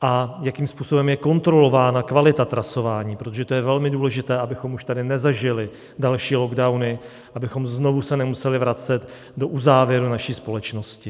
a jakým způsobem je kontrolována kvalita trasování, protože to je velmi důležité, abychom už tady nezažili další lockdowny, abychom se znovu nemuseli vracet do uzávěrů naší společnosti.